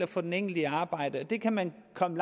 få den enkelte i arbejde og der kan man komme